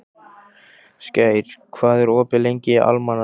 Skær, hvað er opið lengi í Almannaróm?